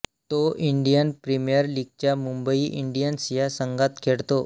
तो Indian premier लीगच्या Mumbai Indians या संघात खेळतो